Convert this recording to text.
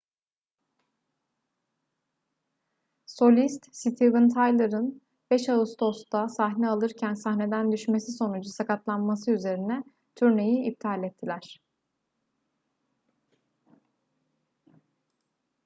solist steven tyler'ın 5 ağustos'ta sahne alırken sahneden düşmesi sonucu sakatlanması üzerine turneyi iptal ettiler